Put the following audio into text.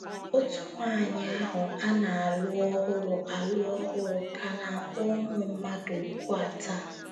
Òtù nwaanyị ahụ a na - alụ ọhụrụ - alụ ọhụrụ ka na - akpọ ụmụ mmadụ òkù a taa.